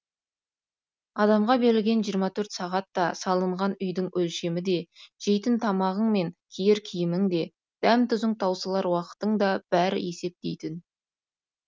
адамға берілген жиырма төрт сағат та салынған үйдің өлшемі де жейтін тамағың мен киер киімің де дәм тұзың таусылар уақытың да бәрі есеп дейтін